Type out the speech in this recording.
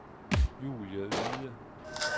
Julie Yde